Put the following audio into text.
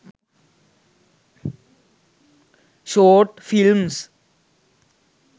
short films